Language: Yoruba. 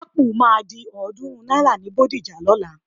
Ápù máa di ọ̀ọ́dúnrún náírà ni Bódìjà lọ́la.